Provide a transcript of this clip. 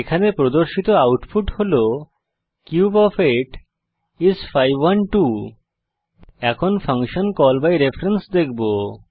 এখানে প্রদর্শিত আউটপুট হল কিউব ওএফ 8 আইএস 512 এখন ফাংশন কল বাই রেফারেন্স দেখব